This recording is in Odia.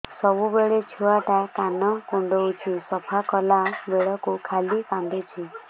ସବୁବେଳେ ଛୁଆ ଟା କାନ କୁଣ୍ଡଉଚି ସଫା କଲା ବେଳକୁ ଖାଲି କାନ୍ଦୁଚି